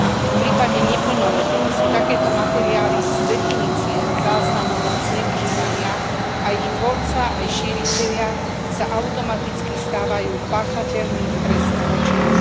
V prípade neplnoletých sú takéto materiály z definície záznamom ich zneužívania a ich tvorca aj šíritelia sa automaticky stávajú páchateľmi trestného činu.